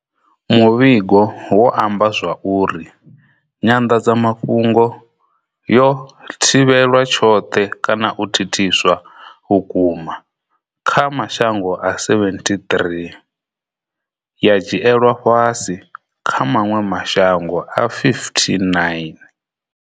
Muvhigo wo amba zwa uri nyanḓadzamafhungo yo thivhelwa tshoṱhe kana u thithiswa vhukuma kha mashango a 73 ya dzhielwa fhasi kha maṅwe mashango a 59.